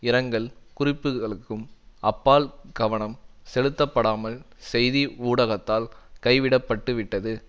இரங்கல் குறிப்புகளுக்கும் அப்பால் கவனம் செலுத்தப்படாமல் செய்தி ஊடகத்தால் கைவிட பட்டுவிட்டது